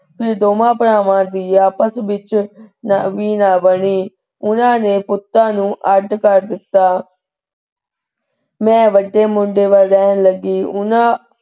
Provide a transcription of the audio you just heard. ਦੋਵਾਂ ਭਰਾਵਾਂ ਦੀ ਆਪਸ ਵਿਚ ਵੀ ਨਾ ਬਣੀ। ਉਹਨਾਂ ਨੇ ਪੁੱਤਾ ਨੂੰ ਅੱਡ ਕਰ ਦਿਤਾ ਮੈਂ ਵੱਡੇ ਮੁੰਡੇ ਵੱਲ ਰਹਿਣ ਲੱਗੀ। ਉਹਨਾਂ,